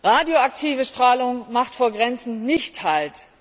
Radioaktive Strahlung macht vor Grenzen nicht Halt.